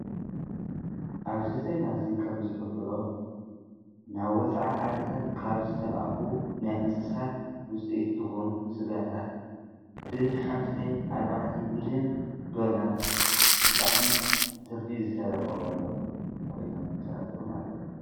አብዚ ዜና እዚ ከም ዝሕብሮ ናብ ወፃኢ ዓድታት ካብ ዝተልኣኹ ናይ እንስሳት ውፅኢት ዝኹኑ ስጋታት ብ ሓምሳይ ኣርባዕተይ ሚሊዮን ዶላር ብጣዕሚ ትርፊ ዝተረከበሎም ኮይኖም ተረኺቦም አለዉ።